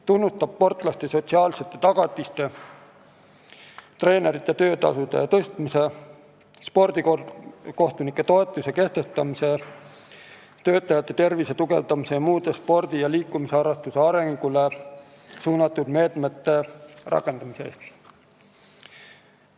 Tunnustame sportlaste sotsiaalsete tagatiste kehtestamise, treenerite töötasude tõstmise, spordikohtunike toetuse kehtestamise, töötajate tervise tugevdamise ning muude spordi ja liikumisharrastuse arengule suunatud meetmete rakendamise eest.